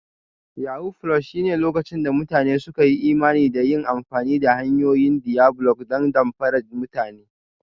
Yahoo+ shine lokacin da mutane suka yi imani da yin amfani da hanyoyin diabolic don damfara mutane